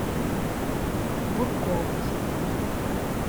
бурковой